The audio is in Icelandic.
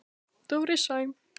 Dóri Sæm.